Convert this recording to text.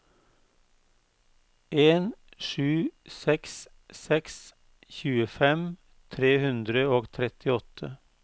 en sju seks seks tjuefem tre hundre og trettiåtte